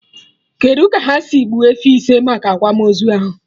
Kedụ ka ha si gbuo efi ise maka akwamozu ahụ?